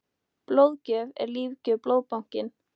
Blóðgjöf er lífgjöf- Blóðbankinn.